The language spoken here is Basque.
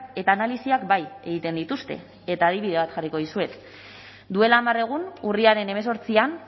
eta analisiak bai egiten dituzte eta adibide bat jarriko dizuet duela hamar egun urriaren hemezortzian